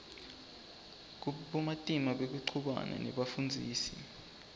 bumatima bekuchumana nebafundzisi